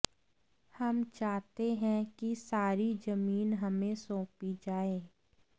हम चाहते हैं कि सारी जमीन हमें सौंपी जाए